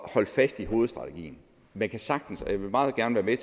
at holde fast i hovedstrategien man kan sagtens og jeg vil meget gerne være